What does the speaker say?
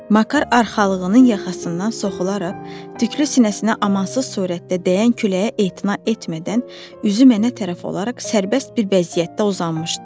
Makar arxalığının yaxasından soxularaq tüklü sinəsinə amansız surətdə dəyən küləyə etina etmədən üzü mənə tərəf olaraq sərbəst bir vəziyyətdə uzanmışdı.